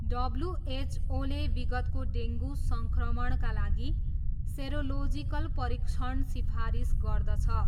डब्ल्युएचओले विगतको डेङ्गु सङ्क्रमणका लागि सेरोलोजिकल परीक्षण सिफारिस गर्दछ।